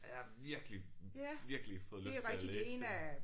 Jeg har virkelig virkelig fået lyst til at læse dem